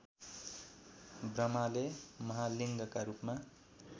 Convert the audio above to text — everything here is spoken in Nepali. ब्रह्माले महालिङ्गका रूपमा